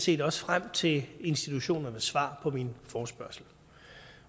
set også frem til institutionernes svar på min forespørgsel